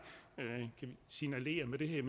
signalerer med det her er